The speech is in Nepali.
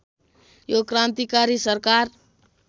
यो क्रान्तिकारी सरकार